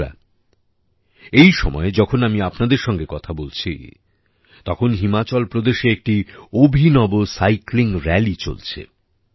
বন্ধুরা এই সময়ে যখন আমি আপনাদের সঙ্গে কথা বলছি তখন হিমাচল প্রদেশে একটি অভিনব সাইক্লিং রালি চলছে